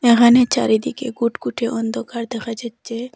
এখানে চারিদিকে কুটকুটে অন্ধকার দেখা যাচ্ছে।